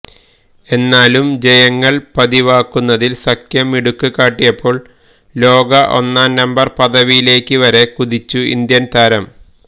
എന്നാലും ജയങ്ങള് പതിവാക്കുന്നതില് സഖ്യം മിടുക്ക് കാട്ടിയപ്പോള് ലോക ഒന്നാം നമ്പര് പദവിയിലേക്ക് വരെ കുതിച്ചു ഇന്ത്യന് താരം